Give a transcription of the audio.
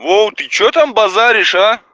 вов ты что там базаришь а